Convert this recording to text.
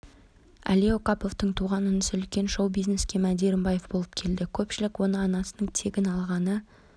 әли оқаповтың туған інісі үлкен шоу бизнеске мәди рымбаев болып келді көпшілік оны анасының тегін алғаны